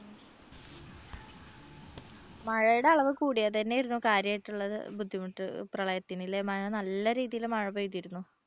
മഴയുടെ അളവ് കൂടിയത് തന്നെയായിരുന്നു കാര്യമായിട്ടുള്ള ബുദ്ധിമുട്ട് പ്രളയത്തിനിലെ മഴ നല്ല രീതിയിൽ മഴ പെയ്തിരുന്നു.